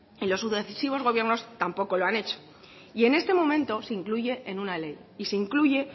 y los sucesivos gobiernos tampoco lo han hecho y en este momento se incluye en una ley y se incluye